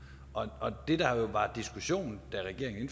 og det der jo var diskussionen da regeringen